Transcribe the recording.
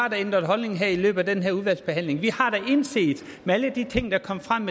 har ændret holdning i løbet af udvalgsbehandlingen vi har da indset med alle de ting der kom frem